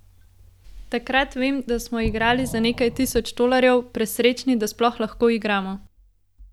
Takrat vem, da smo igrali za nekaj tisoč tolarjev, presrečni, da sploh lahko igramo.